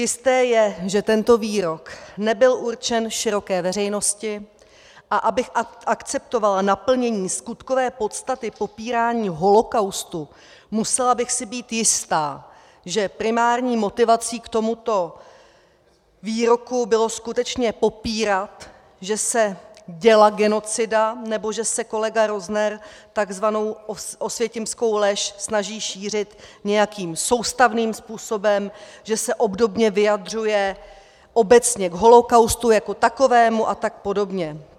Jisté je, že tento výrok nebyl určen široké veřejnosti, a abych akceptovala naplnění skutkové podstaty popírání holokaustu, musela bych si být jista, že primární motivací k tomuto výroku bylo skutečně popírat, že se děla genocida nebo že se kolega Rozner takzvanou osvětimskou lež snaží šířit nějakým soustavným způsobem, že se obdobně vyjadřuje obecně k holokaustu jako takovému a tak podobně.